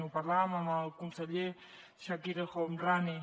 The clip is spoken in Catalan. ho parlàvem amb el conseller chakir el homrani